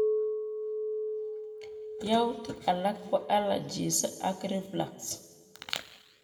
Youtik alak ko allergies ak reflux